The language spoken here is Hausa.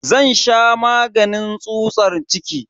Zan sha maganin tsutsar ciki.